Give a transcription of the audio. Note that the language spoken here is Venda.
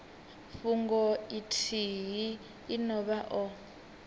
fhungo ithihi ine vha o